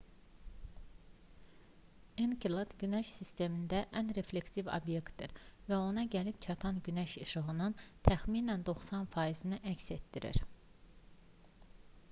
enkelad günəş sistemində ən reflektiv obyektdir və ona gəlib çatan günəş işığının təxminən 90 faizini əks etdirir